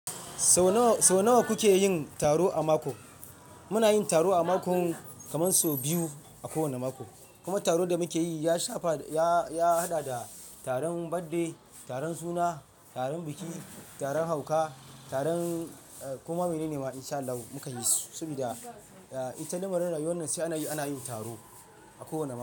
Sau nawa kuke yin taro a mako? Muna yin taro a mako kamar sau biyu a kowane mako. Kuma taron da muke yi ya shafa, ya hada da taron birthday, taron suna, taron biki, taron hauka, taron kuma mene ne ma insha Allah mukan yi su. Saboda ita lamarin rayuwanan sai ana yi, ana yin taro a kowane mako.